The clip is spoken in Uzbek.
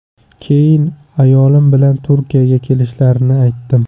Keyin ayolim bilan Turkiyaga kelishlarini aytdim.